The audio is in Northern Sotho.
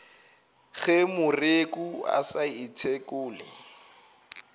ge moreku a sa ithekole